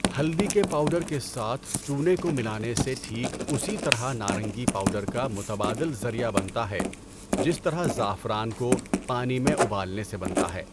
ہلدی کے پاؤڈر کے ساتھ چونے کو ملانے سے ٹھیک اسی طرح نارنگی پاؤڈر کا متبادل ذریعہ بنتا ہے جس طرح زعفران کو پانی میں ابالنے سے بنتا ہے۔